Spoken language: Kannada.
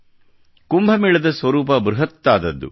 ಕುಂಭ ಮೇಳದ ಸ್ವರೂಪ ಬೃಹತ್ತಾದುದು